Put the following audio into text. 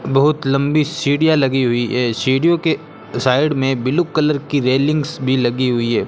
बहुत लंबी सीढ़ियाँ लगी हुई हैं सीढ़ियों के साइड में ब्लू कलर की रॅलिंग्स भी लगी हुई है।